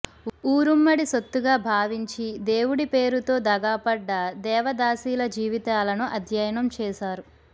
ఊరుమ్మడి సొత్తుగా భావించి దేవుడి పేరుతో దగాపడ్డ దేవదాసీల జీవితాలను అధ్యయనం చేశారు